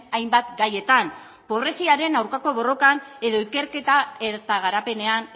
hainbat gaietan pobreziaren aurkako borrokan edo ikerketa eta garapenean